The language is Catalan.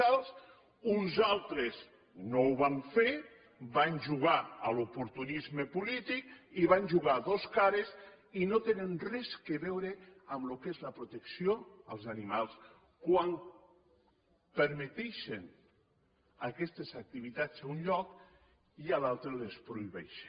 tal uns altres no ho van fer van jugar a l’oportunisme polític i van jugar a dos cares i no tenen res a veure amb el que és la protecció dels animals quan permeten aquestes activitats a un lloc i a un altre les prohibeixen